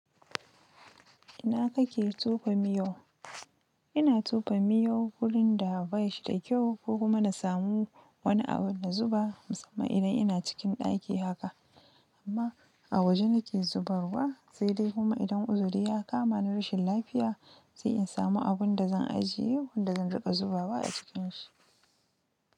Ina kake tofa miyau? Ina tofa miyau wurin da bai shi da kyau, ko kuma na samu wani abu na zuba, musamman idan ina cikin ɗaki haka, amma a waje nike zubarwa, sai dai kuma idan uzuri ya kama ni rashin lafiya, sai in samu abun da zan ajiye wanda zan riƙa zubawa a cikin shi.